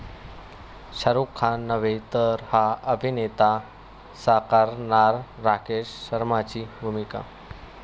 शाहरुख खान नव्हे तर 'हा' अभिनेता साकारणार राकेश शर्मांची भूमिका